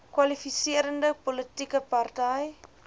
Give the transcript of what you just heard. kwalifiserende politieke party